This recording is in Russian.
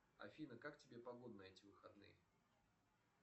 афина как тебе погода на эти выходные